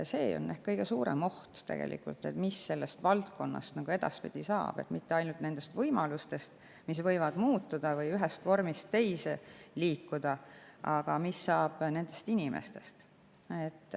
See on ehk kõige suurem oht, et mis sellest valdkonnast edaspidi saab, sest ei ole mitte ainult võimalused, mis võivad muutuda või ühest vormist teise liikuda, mis saab nendest inimestest.